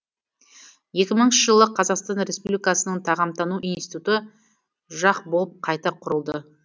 екі мыңыншы жылы қазақстан республикасының тағамтану институты жақ болып қайта құрылды